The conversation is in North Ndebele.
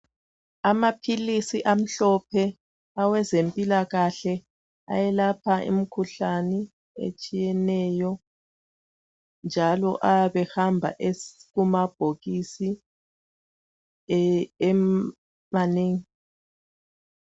Amaphilisi amhlophe awezempilakahle ayelapha imikhuhlane etshiyeneyo njalo ayabe ehamba ekumabhokisi emanengi.